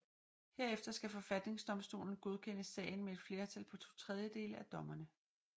Herefter skal forfatningsdomstolen godkende sagen med et flertal på to tredjedele af dommerne